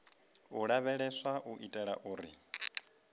u lavheleswa u itela uri